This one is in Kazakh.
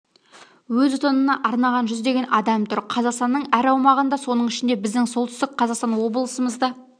өз отанына арнаған жүздеген адам тұр қазақстанның әр аумағында соның ішінде біздің солтүстік қазақстан облысымызда